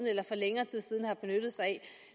eller længere tid siden benyttede sig af